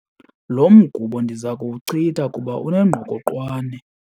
Lo mgubo ndiza kuwuchitha kuba unengqokoqwane.